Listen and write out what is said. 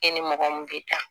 E ni mɔgɔ min bɛ taa